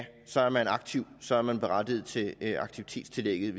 så er man aktiv og så er man berettiget til aktivitetstillægget